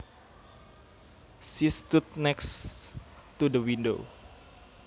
She stood next to the window